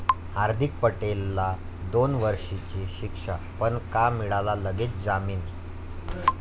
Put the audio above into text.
हार्दीक पटेलला दोन वर्षींची शिक्षा, पण का मिळाला लगेच जामीन?